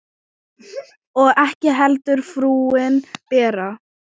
Og ekki heldur frúin Bera.